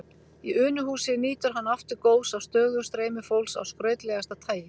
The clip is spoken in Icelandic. Í Unuhúsi nýtur hann aftur góðs af stöðugu streymi fólks af skrautlegasta tagi.